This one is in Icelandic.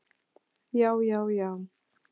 Já, já, já!